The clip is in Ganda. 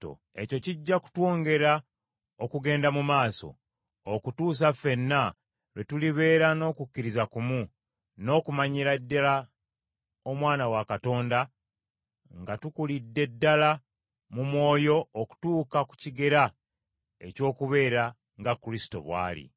Ekyo kijja kutwongera okugenda mu maaso, okutuusa ffenna lwe tulibeera n’okukkiriza kumu, n’okumanyira ddala Omwana wa Katonda nga tukulidde ddala mu mwoyo okutuuka ku kigera eky’okubeera nga Kristo bw’ali.